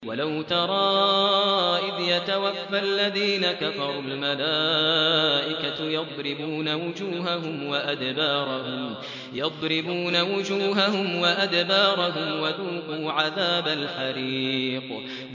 وَلَوْ تَرَىٰ إِذْ يَتَوَفَّى الَّذِينَ كَفَرُوا ۙ الْمَلَائِكَةُ يَضْرِبُونَ وُجُوهَهُمْ وَأَدْبَارَهُمْ وَذُوقُوا عَذَابَ الْحَرِيقِ